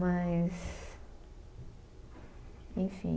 Mas enfim.